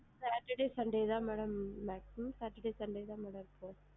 Saturday Sunday தான் madam நான் free saturday sunday தான் நான் இருப்பேன்